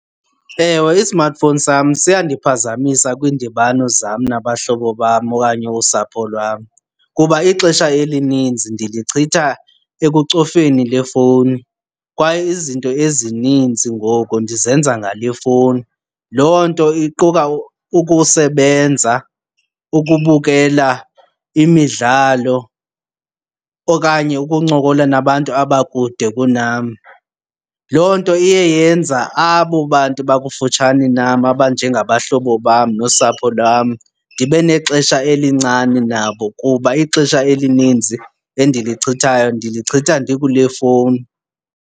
Ewe, i-smartphone sam siyandiphazamisa kwiindibano zam nabahlobo bam okanye usapho lwam kuba ixesha elininzi ndilichitha ekucofeni le fowuni kwaye izinto ezininzi ngoku ndizenza ngale fowuni. Loo nto iquka ukusebenza, ukubukela imidlalo okanye ukuncokola nabantu abakude kunam. Loo nto iye yenza abo bantu bakufutshane nam, abanjengabahlobo bam nosapho lwam, ndibe nexesha elincane nabo kuba ixesha elininzi endilichithayo ndilichitha ndikule fowuni.